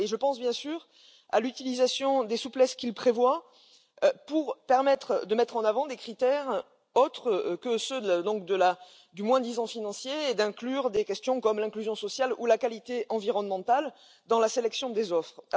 Je pense bien sûr à l'utilisation des souplesses qu'il prévoit pour permettre de mettre en avant des critères autres que ceux du moins disant financier et de prendre en compte des questions comme l'inclusion sociale ou la qualité environnementale dans la sélection des offres.